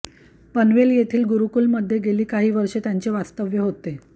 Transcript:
पनवेल येथील गुरुकुलमध्ये गेली काही वर्षे त्यांचे वास्तव्य होते